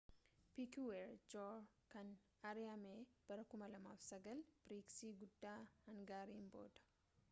piikuweer jr kan ari'ame bara 2009 piriiksii guddaahaangaariin booda